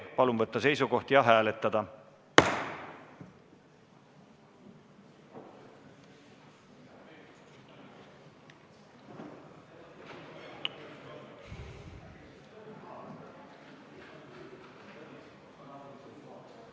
Palun võtta seisukoht ja hääletada!